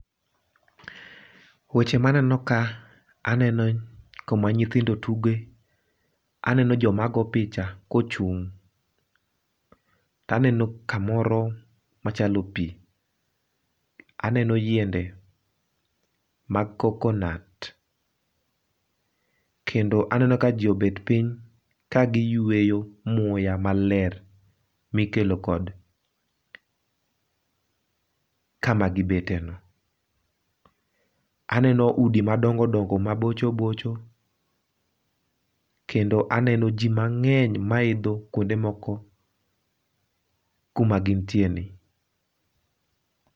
Weche maneno ka aneno kuma nyithindo tuge, aneno joma go picha ka ochung' to aneno kamoro machalo pii, aneno yiende mag coconut kendo aneno ka jii obet piny ka gi yueyo muya maler mikelo kod kama gibete no. Aneno udi madongo dongo mabocho bocho kendo aneno jii mang'eny maidho kuonde kuonde moko kuma gintie ni